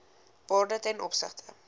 waarde ten opsigte